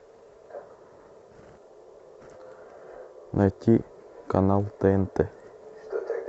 найти канал тнт